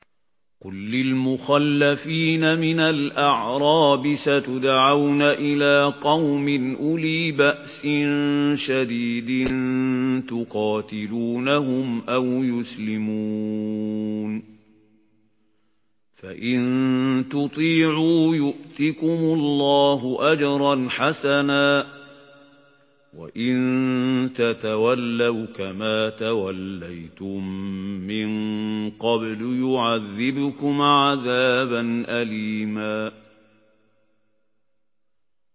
قُل لِّلْمُخَلَّفِينَ مِنَ الْأَعْرَابِ سَتُدْعَوْنَ إِلَىٰ قَوْمٍ أُولِي بَأْسٍ شَدِيدٍ تُقَاتِلُونَهُمْ أَوْ يُسْلِمُونَ ۖ فَإِن تُطِيعُوا يُؤْتِكُمُ اللَّهُ أَجْرًا حَسَنًا ۖ وَإِن تَتَوَلَّوْا كَمَا تَوَلَّيْتُم مِّن قَبْلُ يُعَذِّبْكُمْ عَذَابًا أَلِيمًا